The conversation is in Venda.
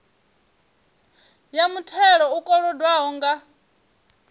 ya muthelo u kolodwaho nga